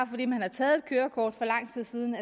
fordi man har taget kørekort for lang tid siden